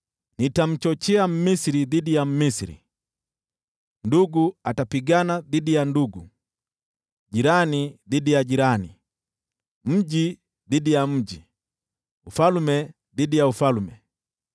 “Nitamchochea Mmisri dhidi ya Mmisri, ndugu atapigana dhidi ya ndugu, jirani dhidi ya jirani, mji dhidi ya mji, ufalme dhidi ya ufalme.